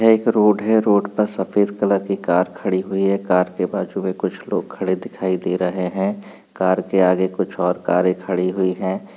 यह एक रोड है। रोड पर सफेद कलर की कार खड़ी हुई है। कार के बाजू मे कुछ लोग खड़े दिखाई दे रहे हैं। कार के आगे कुछ और कारे खड़ी हुई हैं।